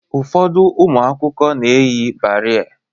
Ụfọdụ ụmụ akwụkwọ na-eyi barei